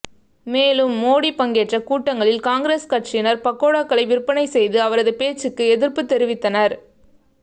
மேலும் மோடி பங்கேற்ற கூட்டங்களில் காங்கிரஸ் கட்சியினர் பக்கோடாக்களை விற்பனை செய்து அவரது பேச்சுக்கு எதிர்ப்புத் தெரிவித்தனர்